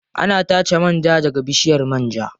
Ana tace man ja daga bishiyar man ja.